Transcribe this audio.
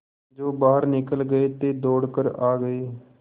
जो बाहर निकल गये थे दौड़ कर आ गये